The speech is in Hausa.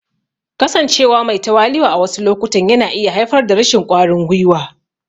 Kasancewa me tawali'u a wasu lokutan yana iya haifar da rashin ƙwarin gwiwa.